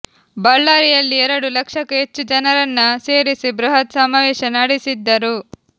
ಬಳ್ಳಾರಿಯಲ್ಲಿ ಎರಡು ಲಕ್ಷಕ್ಕೂ ಹೆಚ್ಚು ಜನರನ್ನ ಸೇರಿಸಿ ಬೃಹತ್ ಸಮಾವೇಶ ನಡೆಸಿದ್ದರು